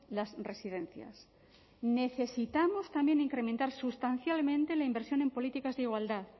las residencias necesitamos también incrementar sustancialmente la inversión en políticas de igualdad